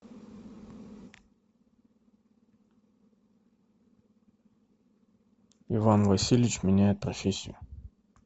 иван васильевич меняет профессию